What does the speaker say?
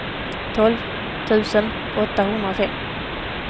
tolv tusen åttahundrafem